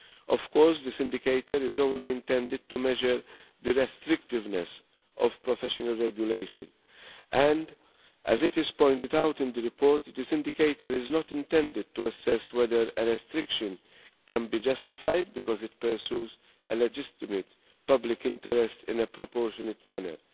Of course, this indicator is only intended to measure the restrictiveness of professional regulation and, as is pointed out in the report, this indicator is not intended to assess whether a restriction can be justified because it pursues a legitimate public interest in a proportionate manner.